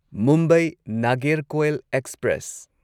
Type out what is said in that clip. Mumbai Nagercoil express